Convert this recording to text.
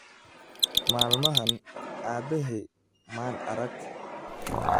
Maalmahan aabbahay maan arag.